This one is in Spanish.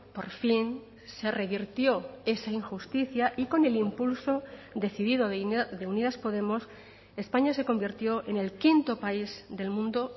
por fin se revirtió esa injusticia y con el impulso decidido de unidas podemos españa se convirtió en el quinto país del mundo